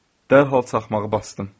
Dərhal çaxmağı basdım.